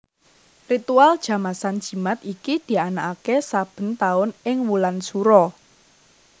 Ritual Jamasan Jimat iki dianakake saben taun ing wulan Sura